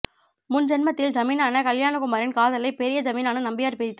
முன் ஜென்மத்தில் ஜமீனனான கல்யாணகுமாரின் காதலை பெரிய ஜமீனான நம்பியார் பிரித்து